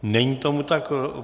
Není tomu tak.